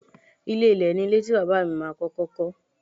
Ilé ilẹ̀ ni ilé tí Bàbá mi ma kọ́kọ́ kọ́.